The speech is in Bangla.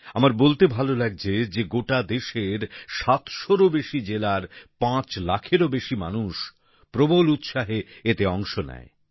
আমার বলতে ভালো লাগছে যে গোটা দেশের সাতশোরও বেশি জেলার পাঁচ লাখেরও বেশি মানুষ প্রবল উৎসাহে এতে অংশ নেয়